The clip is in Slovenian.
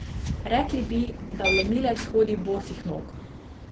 Rekli bi, da vlomilec hodi bosih nog.